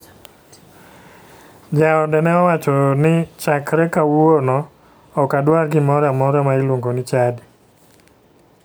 Jaode ne owacho ni "chakre kawuono'ok adwar gimoro amora ma iluongo ni chadi".